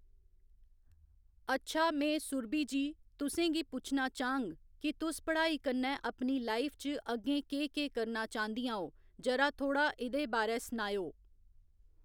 अच्छा में सुरभि जी तुसें गी पुच्छना चाह्ङ कि तुस पढ़ाई कन्नै अपनी लाइफ च अग्गें केह् केह् करना चाहंदियां ओ जरा थोह्‌ड़ा इ'दे बारै सनाए ओ